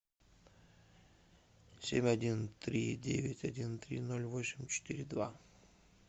семь один три девять один три ноль восемь четыре два